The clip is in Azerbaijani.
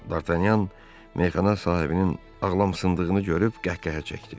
Dartanyan meyxana sahibinin ağlam sındığını görüb qəhqəhə çəkdi.